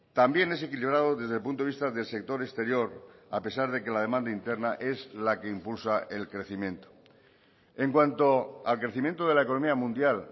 también es equilibrado desde el punto de vista del sector exterior a pesar de que la demanda interna es la que impulsa el crecimiento en cuanto al crecimiento de la economía mundial